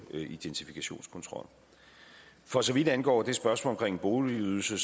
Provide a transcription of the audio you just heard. identifikationskontrol for så vidt angår spørgsmålet om boligydelse